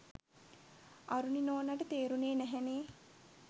අරුණි නෝනාට තේරුණේ නැහැනෙ.